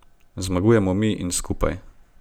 Zmagujemo mi in skupaj.